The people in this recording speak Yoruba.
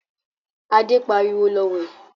Adé pariwo, 'Lọ wẹ̀'